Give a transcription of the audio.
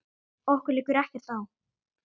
Okkur liggur ekkert á